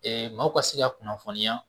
maaw ka se ka kunnafoniya